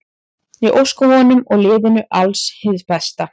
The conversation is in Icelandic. Ég óska honum og liðinu alls hins besta.